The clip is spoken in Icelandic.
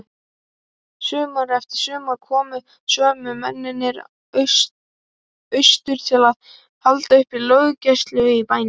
Sumar eftir sumar komu sömu mennirnir austur til að halda uppi löggæslu í bænum.